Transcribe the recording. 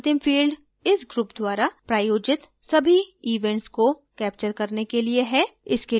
यहाँ अंतिम field इस group द्वारा प्रायोजित सभी events को कैप्चर करने के लिए है